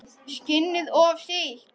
Skinnið of sítt.